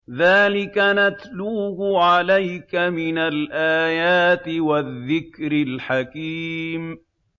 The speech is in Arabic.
ذَٰلِكَ نَتْلُوهُ عَلَيْكَ مِنَ الْآيَاتِ وَالذِّكْرِ الْحَكِيمِ